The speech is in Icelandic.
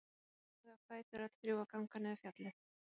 Og svo standa þau á fætur öll þrjú og ganga niður fjallið.